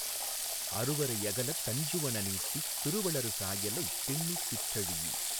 அருவரை யகலத் தஞ்சுவன ணீட்டித் திருவளர் சாயலைத் திண்ணிதிற் றழீஇ